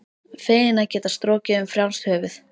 Feginn að geta strokið um frjálst höfuð.